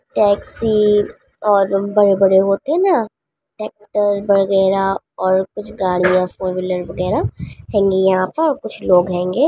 Taxi और बड़े-बड़े होतें हैं ना ट्रैक्टर वगैरा और कुछ गाड़ियाँ फोर व्हीलर वगैरा हैंगी यहाँ पर और कुछ लोग हैंगे।